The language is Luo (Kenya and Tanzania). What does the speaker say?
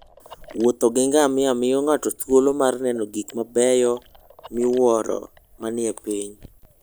Wuotho gi ngamia miyo ng'ato thuolo mar neno gik mabeyo miwuoro manie piny.